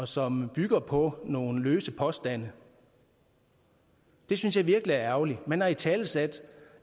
som bygger på nogle løse påstande det synes jeg virkelig er ærgerligt man har italesat